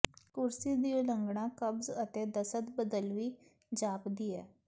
ਕੁਰਸੀ ਦੀ ਉਲੰਘਣਾ ਕਬਜ਼ ਅਤੇ ਦਸਤ ਬਦਲਵੀ ਜਾਪਦੀ ਹੈ